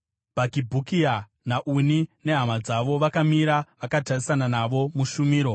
Bhakibhukia naUni, nehama dzavo, vakamira vakatarisana navo mushumiro.